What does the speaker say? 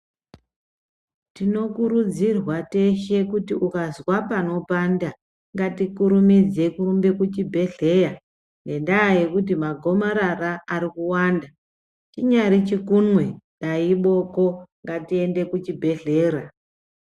Tinokurudzirwa teshe kuti ukazwa panopanda ngatikurumidze kurumbe kuchibhedhlera ngenda yekuti magomarara arikuwanda inyari chikunwe dai iboko ngatiende kuchibhedhlera .